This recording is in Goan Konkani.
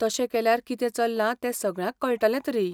तशें केल्यार कितें चल्लां ते सगळ्यांक कळटलें तरी.